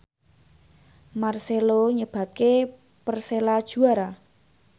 marcelo nyebabke Persela juara